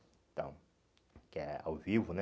Então, que é ao vivo, né?